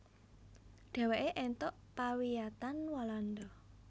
Dheweke èntuk pawiyatan Walanda